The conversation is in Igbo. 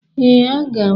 Ee, aga m.